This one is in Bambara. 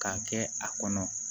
K'a kɛ a kɔnɔ